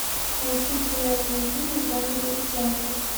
найти популярные фильмы в жанре театр